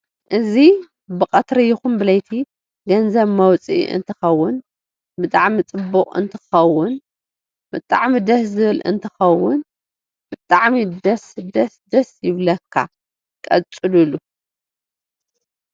እዚ በቀትሪ ይኩን ብለቲ ገንዘብ ምውፅእ አንተከውን በጣዓሚ ፅቡ እንትከውን ብጣዓሚ ደስ ዝብል አንትከውን ብጣሚ ደስ ደሰ ደሰ ይብለኳ!! ቀፂሉሉ!!